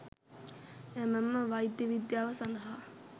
එමෙන්ම වෛද්‍ය විද්‍යාව සඳහා